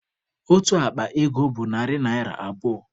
Otu akpa ego bụ narị naira abụọ